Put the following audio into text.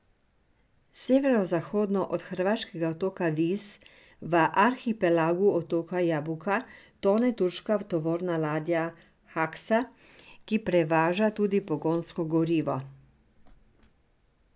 Severozahodno od hrvaškega otoka Vis v arhipelagu otoka Jabuka tone turška tovorna ladja Haksa, ki prevaža tudi pogonsko gorivo.